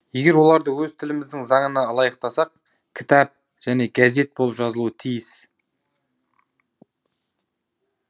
егер оларды өз тіліміздің заңына ылайықтасақ кітәп және гәзет болып жазылуы тійіс